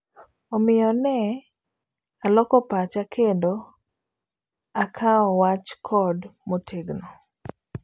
Omiyo ne aloko pacha kendo akawo wach code motegno.